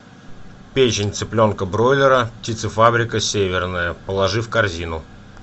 печень цыпленка бройлера птицефабрика северная положи в корзину